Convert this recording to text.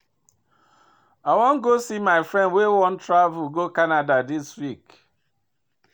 I wan go see my friend wey wan travel go Canada dis week